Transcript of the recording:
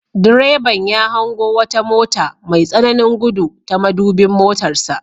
Direban ya hango wata mota mai tsananin gudu ta madubin motarsa.